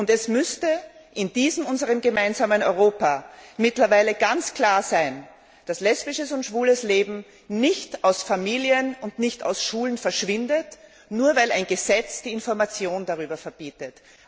Es müsste in diesem unserem gemeinsamen Europa mittlerweile ganz klar sein, dass lesbisches und schwules Leben nicht aus Familien und nicht aus Schulen verschwindet, nur weil ein Gesetz die Information darüber verbietet.